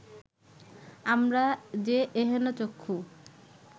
আমরা যে এহেন চক্ষু